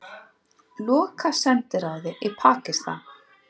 Loka sendiráði í Pakistan